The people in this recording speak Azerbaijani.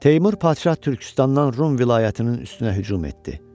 Teymur padşah Türkistandan Rum vilayətinin üstünə hücum etdi.